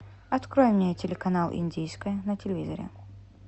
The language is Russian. открой мне телеканал индийское на телевизоре